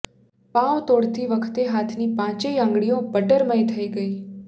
પાંઉ તોડતી વખતે હાથની પાંચેય આંગળીઓ બટરમય થઈ ગઈ